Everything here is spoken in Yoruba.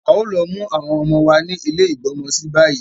A ò lo mu àwọn ọmọ wa ni ile igbọ́mọsí bayi